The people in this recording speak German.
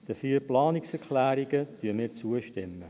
Den vier Planungserklärungen stimmen wir zu.